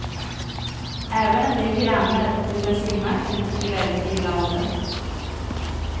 Även en del grannar till bensinmacken tycker väldigt illa om den.